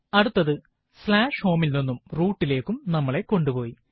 അടുത്തത് home ൽ നിന്നും root ലേക്കും നമ്മളെ കൊണ്ടുപോയി